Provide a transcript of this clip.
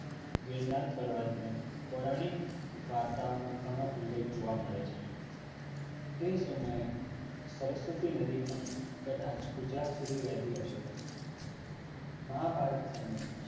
ગિરનાર પર્વત ને પૌરાણિક વાર્તાઓમાં ઘણો ઉલ્લેખ જોવા મળે છે તે સમયે સરસ્વતી નદી પણ કદાચ ગુજરાત સુધી વહેતી હશે મહાભારત સમયે